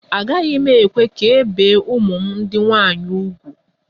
Agaghị m ekwe ka e bie ụmụ m ndị nwaanyị úgwù